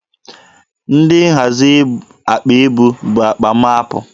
Ndị nhazi akpa ibu bu akpa m apụ.